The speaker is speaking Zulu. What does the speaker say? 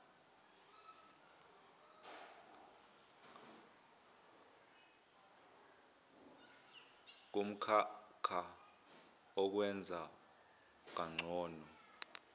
kumklhakah wokwenza kangcono